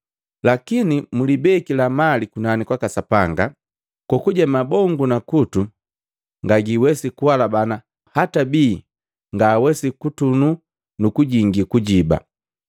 Lakini mlibekila mali kunani kwaka Sapanga, kokuje ibongo na kutu ngaseiwesia, kuhalabana hata bii ngaawesi kutunu nu kujingi kujiba.